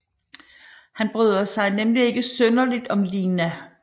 Han bryder sig nemlig ikke synderligt om Lina